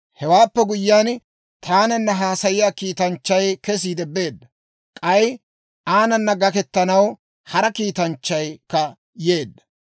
Hewaappe guyyiyaan, taananna haasayiyaa kiitanchchay kesiide beedda; k'ay aanana gakkettanaw hara kiitanchchaykka yeedda.